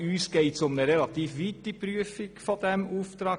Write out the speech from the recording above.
Uns geht es um eine relativ weite Prüfung des Auftrags.